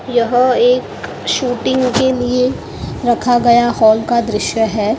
यह एक शूटिंग के लिए रखा गया हॉल का दृश्य है--